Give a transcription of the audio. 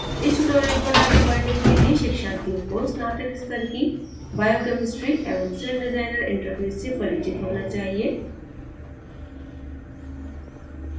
इस tutorial पर आगे बढ़ने के लिए शिक्षार्थियों को स्नातक स्तर की biochemistry एवं celldesigner इंटरफ़ेस से परिचित होना चाहिए